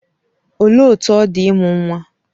Olee otú ọ dị ịmụ nwa?